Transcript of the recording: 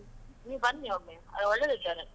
ನೀವು ಬನ್ನಿ ಒಮ್ಮೆ, ಅಲ್ಲಿ ಒಳ್ಳೆದಿದ್ದಾರೆ.